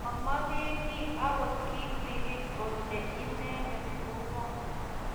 Momoke kiy agot kitigin Ole inendet ko ngo